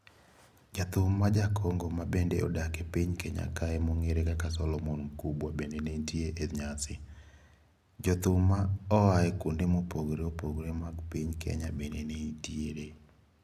Jathum ma jaKongo ma bende odak e piny Kenya kae mongere kaka Solomon Mkubwa bende ne nitie e nyasi. Jothum ma oae kuonde mopogore opogore mag piny Kenya bende nenitie.